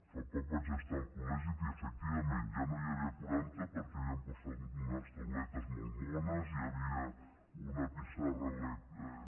fa poc vaig estar al col·legi i efectivament ja no n’hi havia quaranta perquè havien posat unes tauletes molt mones i hi havia una pissarra elèctrica